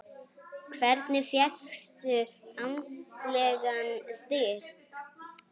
Hvernig fékkstu andlegan styrk?